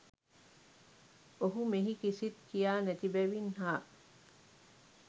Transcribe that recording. ඔහු මෙහි කිසිත් කියා නැති බැවින් හා